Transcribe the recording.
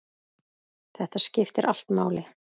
Þetta skiptir allt máli.